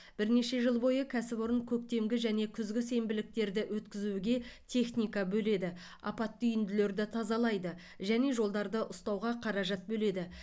бірнеше жыл бойы кәсіпорын көктемгі және күзгі сенбіліктерді өткізуге техника бөледі апатты үйінділерді тазалайды және жолдарды ұстауға қаражат бөледі